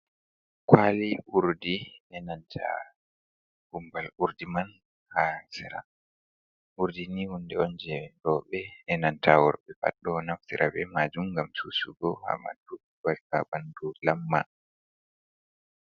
Kwali Urdi, be nanta Gumbal Urdi man ha seraa, Urdi ni hunde on je roube be nanta worɓe pat do naftira be maajum gam cusugo ha ɓamadu gam ta ɓandu lamma.